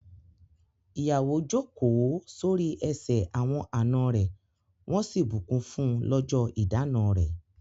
Ìyàwó jókòó sórí ẹsẹ̀ awọn àna rẹ̀ wọ́n sì bù kún fún lọjọ ìdána rẹ̀.